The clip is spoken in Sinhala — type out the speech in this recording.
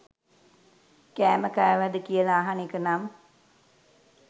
කෑම කෑවද කියල අහන එක නම්